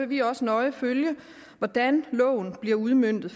vi også nøje følge hvordan loven bliver udmøntet